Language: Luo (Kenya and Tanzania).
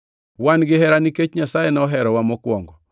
Wan gihera nikech Nyasaye noherowa mokwongo.